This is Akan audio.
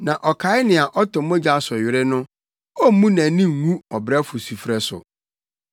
Na ɔkae nea ɔtɔ mogya so were no; ommu nʼani ngu ɔbrɛfo sufrɛ so.